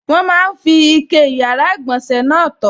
Wọ́n máa n fi ike yàrá-ìgbọ̀nsẹ̀ náà tọ̀